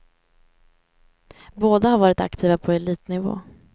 Båda har varit aktiva på elitnivå.